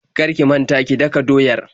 Kar ki manta ki daka doyar.